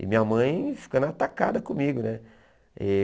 E minha mãe ficando atacada comigo, né? E